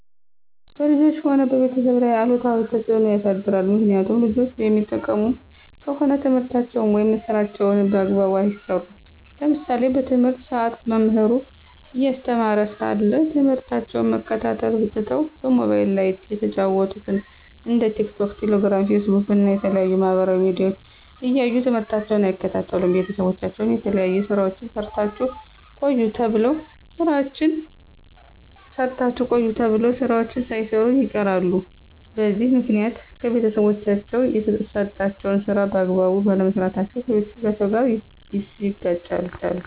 በልጆች ሆነ በቤተሰብ ላይ አሉታዊ ተፅዕኖ ያሳድራል። ምክኒያቱም ልጆች የሚጠቀሙ ከሆነ ትምህርታቸውን ወይም ስራቸውን በአግባቡ አይሰሩም። ለምሳሌ በትምህርት ሰአት መምህሩ እያስተማረ ሳለ ትምህርታቸውን መከታተል ትተው በሞባይል ላይ የተጫኑትን እንደ ቲክቶክ፣ ቴሌግራም፣ ፌስቡክ እና የተለያዩ የማህበራዊ ሚዲያዎች እያዩ ትምህርታቸውን አይከታተሉም። ቤተሰቦቻቸው የተለያዩ ስራዎችን ሰርታችሁ ቆዩ ተብለው ስራዎችን ሳይሰሩ ይቀራሉ። በዚህ ምክኒያት ከቤተሰቦቻቸው የተሰጣቸውን ስራ በአግባቡ ባለመስራታቸው ከቤተሰቦቻቸው ጋር ይጋጫሉ።